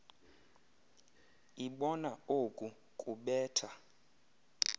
ibona oku kubetha